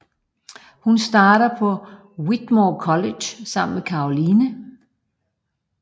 Hun starter på Whitmore College sammen med Caroline